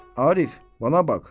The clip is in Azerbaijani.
Arif, bana bax.